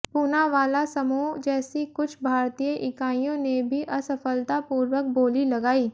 पूनावाला समूह जैसी कुछ भारतीय इकाइयों ने भी असफलतापूर्वक बोली लगाई